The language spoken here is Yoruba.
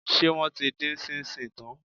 Ṣé wọ́n ti dín ṣíńṣíìn tán?